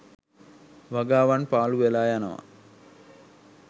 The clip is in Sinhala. වගාවන් පාලු වෙලා යනවා